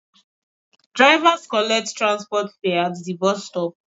Drivers collect transport fare at the bus stop